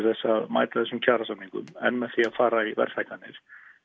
að mæta þessum kjarasamningum en með því að fara í verðhækkanir